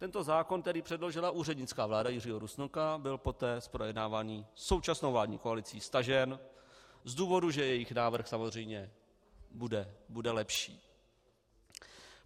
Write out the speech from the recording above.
Tento zákon, který předložila úřednická vláda Jiřího Rusnoka, byl poté z projednávání současnou vládní koalicí stažen z důvodu, že jejich návrh samozřejmě bude lepší.